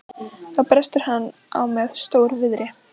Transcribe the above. Þá brestur hann á með stór- viðri.